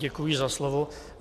Děkuji za slovo.